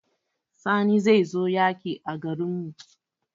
Sani zai zo yaƙi a garin mu